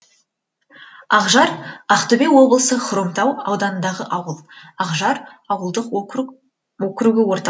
ақжар ақтөбе облысы хромтау ауданындағы ауыл ақжар ауылдық округі орталығы